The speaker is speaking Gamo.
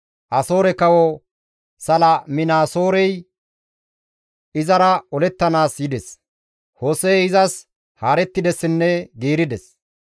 Asoore kawo Saliminaasoorey izara olettanaas yides; Hose7ey izas haarettidessinne giirides.